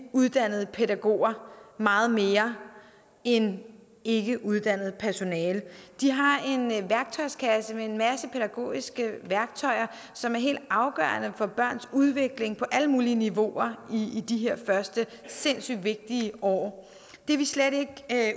uddannede pædagoger meget mere end ikkeuddannet personale de har en værktøjskasse med en masse pædagogiske værktøjer som er helt afgørende for børns udvikling på alle mulige niveauer i de her første sindssygt vigtige år det er vi slet ikke